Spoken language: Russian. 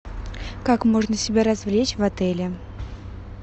как можно себя развлечь в отеле